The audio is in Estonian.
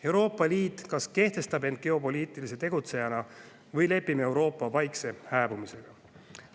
Euroopa Liit kas kehtestab end geopoliitilise tegutsejana või lepime Euroopa vaikse hääbumisega.